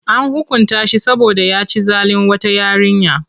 An hukunta shi saboda ya ci zalin wata yarinya.